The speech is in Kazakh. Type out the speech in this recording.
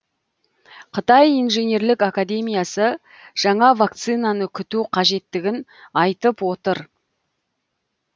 қытай инженерлік академиясы жаңа вакцинаны күту қажеттігін айтып отыр